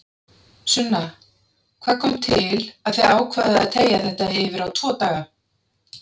Sunna: Hvað kom til að þið ákváðuð að teygja þetta yfir á tvo daga?